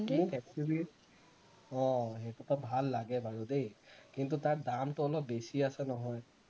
মোক XUV অ সেইটো এটা ভাল লাগে বাৰু দেই কিন্তু তাৰ দামটো অলপ বেছি আছে নহয়